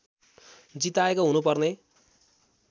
जिताएको हुनुपर्ने